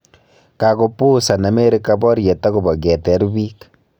Kakopuusan Amerika baryet akobo keteer biik